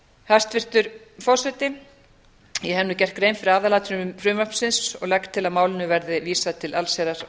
hæstvirtur forseti ég hef nú gert grein fyrir aðalatriðum frumvarpsins og legg til að málinu verði vísað til allsherjar og